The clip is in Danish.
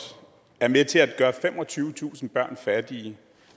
er med til at gøre femogtyvetusind børn fattige